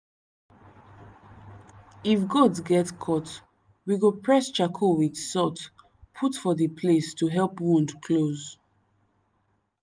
if goat get cut we go press charcoal with salt put for the place to help wound close.